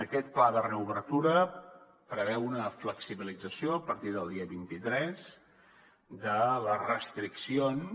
aquest pla de reobertura preveu una flexibilització a partir del dia vint tres de les restriccions